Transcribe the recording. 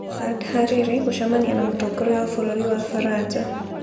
Saad Hariri gũcemania na mũtongoria wa bũrũri wa Faranja